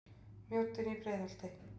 Mjóddin í Breiðholti.